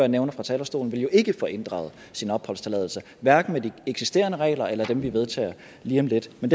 nævnte fra talerstolen vil jo ikke få inddraget sin opholdstilladelse hverken med de eksisterende regler eller dem vi vedtager lige om lidt men